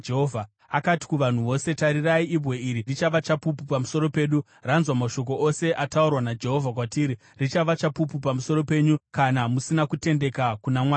Akati kuvanhu vose, “Tarirai! Ibwe iri richava chapupu pamusoro pedu. Ranzwa mashoko ose ataurwa naJehovha kwatiri. Richava chapupu pamusoro penyu kana musina kutendeka kuna Mwari wenyu.”